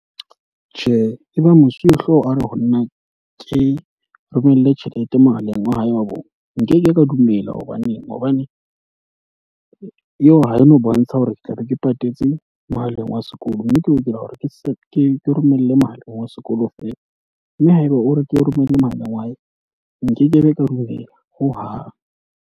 Tjhe, e ba mosuwehlooho a re ho nna ke romele tjhelete mohaleng wa hae wa bong. Nkeke ka dumela hobaneng hobane eo ha e no bontsha hore ke tla be ke patetse mohaleng wa sekolo. Mme ke lokela hore ke se ke romelle mohaleng wa sekolo feela. Mme haeba o re ke o romelle mohaleng wa hae, nkekebe ka dumela ho hang.